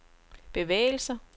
bevægelser